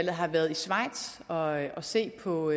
har været i schweiz for at se på